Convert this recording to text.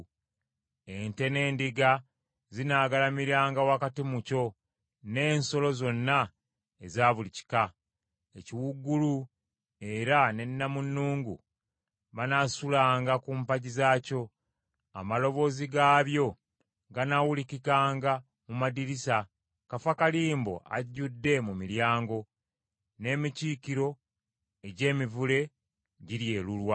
Ente n’endiga zinaagalamiranga wakati mu kyo, n’ensolo zonna eza buli kika: ekiwuugulu era ne nnamunnungu banaasulanga ku mpagi zaakyo. Amaloboozi gaabyo ganaawulikikanga mu madirisa; kafakalimbo ajjudde mu miryango, n’emikiikiro egy’emivule giryelulwa.